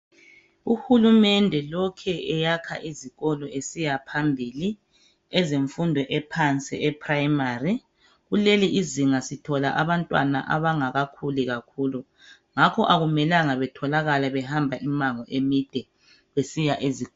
Uhulumende lokhe eyakha izikolo esiya phambili ezemfundo ephansi eprimary kulelizinga sithola abantwana abangakakhuli kakhulu ngakho akumelanga batholakale behamba imango emide besiya ezikolo.